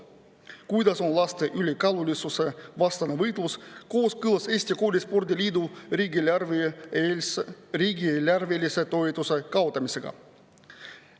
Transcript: Kuidas on laste ülekaalulisuse vastane võitlus kooskõlas Eesti Koolispordi Liidu riigieelarvelise toetuse kaotamisega?